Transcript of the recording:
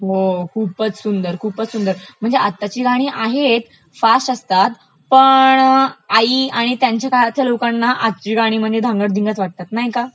हो खूपचं सुंदर, खूपचं सुंदर, म्हणजे आताची गाणी आहेत, फास्ट असतात पण आई आणि त्यांच्या काळातील लोकांना आजची गाणी म्हणजे धांगडधिंगाच वाटतात नाही का